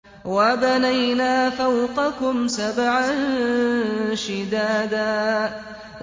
وَبَنَيْنَا فَوْقَكُمْ سَبْعًا شِدَادًا